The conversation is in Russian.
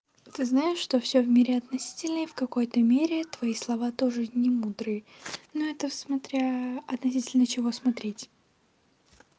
ты знаешь что всё в мире относительно и в какой-то мере твои слова тоже не мудрые ну это смотря относительно чего смотреть